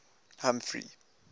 humphrey